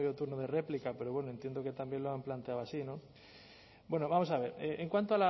turno de réplica pero bueno entiendo que también lo han planteado así no bueno vamos a ver en cuanto